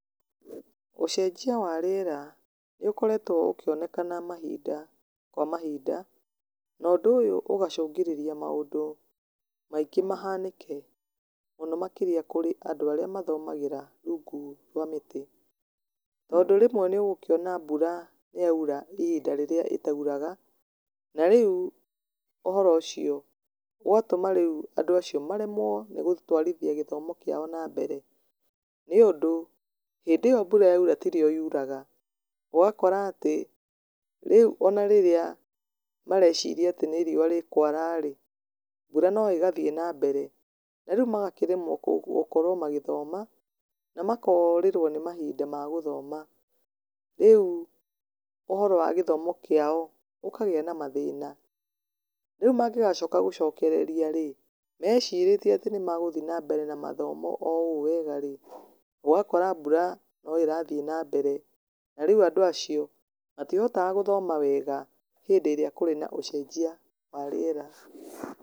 Ũcenjia wa rĩera nĩ ũkoretwo ũkĩoneka mahinda kwa mahinda, na ũndũ ũyũ ũgacũngĩrĩria maũndũ maingĩ mahanĩke, mũno makĩria kũrĩ andũ arĩa mathomagĩra rungu rwa mĩtĩ. Tondũ rĩmwe nĩ ũgũkĩona mbura nĩ yaura ihinda rĩrĩa ĩtauraga. Na rĩu ũhoro ũcio ũgatũma rĩu andũ acio maremwo nĩ gũtũarithia gĩthomo kĩao na mbere, nĩũndũ hĩndĩ ĩyo mbura yaura ti rĩo yuraga, ũgakora atĩ, rĩu ona rĩría mareciria atĩ nĩ riũa rĩkwara-rĩ, mbura no ĩgathiĩ na mbere. Na rĩu makaremwo gũkorwo magĩthoma, na makorĩrwo nĩ mahinda ma gũthoma, rĩu ũhoro wa gĩthomo kĩao ũkagĩa na mathĩna. Rĩu mangĩgacoka gũcokereria-rĩ, mecirĩtie atĩ nĩ magũthiĩ na mbere na mathomo o ũũ wega rĩ, ũgakora mbura no ĩrathiĩ na mbere, na rĩu andũ acio matihotaga gũthoma wega hĩndĩ ĩrĩa kũrĩ na ũcenjia wa rĩera.